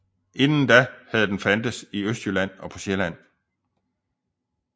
Inden da havde den fandtes i Østjylland og på Sjælland